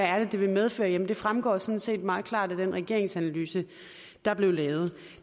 er det vil medføre jamen det fremgår sådan set meget klart af den regeringsanalyse der blev lavet